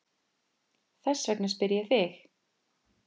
Þess vegna spyr ég þig.